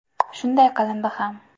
Shunday qilindi ham.